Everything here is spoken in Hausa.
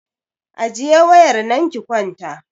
Ajiye wayar nan ki kwanta!